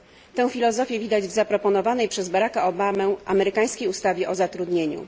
Tę filozofię widać w zaproponowanej przez Baraka Obamę amerykańskiej ustawie o zatrudnieniu.